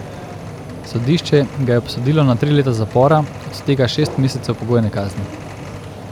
Sodišče ga je obsodilo na tri leta zapora, od tega šest mesecev pogojne kazni.